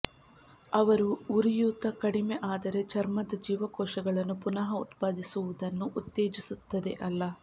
ಅವರು ಉರಿಯೂತ ಕಡಿಮೆ ಆದರೆ ಚರ್ಮದ ಜೀವಕೋಶಗಳನ್ನು ಪುನಃ ಉತ್ಪಾದಿಸುವುದನ್ನು ಉತ್ತೇಜಿಸುತ್ತದೆ ಅಲ್ಲ